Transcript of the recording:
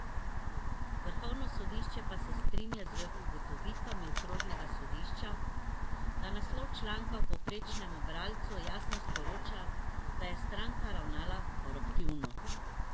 Vrhovno sodišče pa se strinja z ugotovitvami okrožnega sodišča, da naslov članka povprečnemu bralcu jasno sporoča, da je stranka ravnala koruptivno.